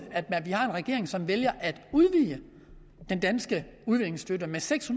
at vi har en regering som vælger at udvide den danske udviklingsstøtte med seks